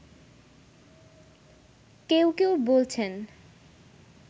কেউ কেউ বলছেন